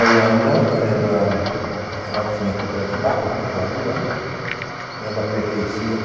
A Ulambra era, ela tinha a Cooperativa Agropecuária Ulambra. Ela pertencia...